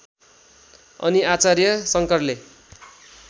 अनि आचार्य शङ्करले